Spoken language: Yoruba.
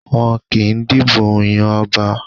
Wọn kì í dìbò yan ọba.